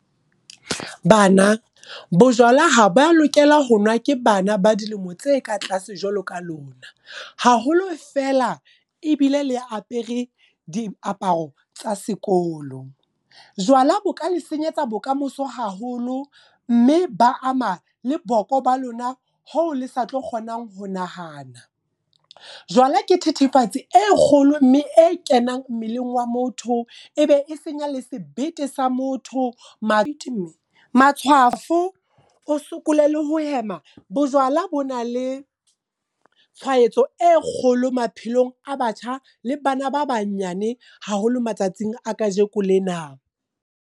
Bana, bojwala ha ba lokela ho nwa ke bana ba dilemo tse ka tlase jwalo ka lona. Haholo feela, ebile le apere diaparo tsa sekolo. Jwala bo ka le senyetsa bokamoso haholo, mme ba ama le boko ba lona hoo le sa tlo kgonang ho nahana. Jwala ke thethefatsi e kgolo mme e kenang mmeleng wa motho, e be e senya le sebete sa motho, matshwafo, o sokole le ho hema. Bojwala bo na le tshwaetso e kgolo maphelong a batjha, le bana ba banyane haholo matsatsing a kajeko lena.